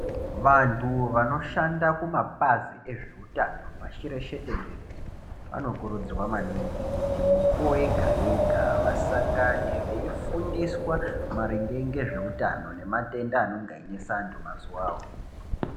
Vanthu vanoshanda kumapazi ezve utano pashi reshe tenderere vanokurudzirwa maningi kuti mukuwo yega yega vasangane veifundiswa maringe ngezveutano nematenda anenge einesa anthu mazuwawo.